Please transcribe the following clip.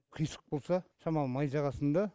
қисық болса шамалы май жағасың да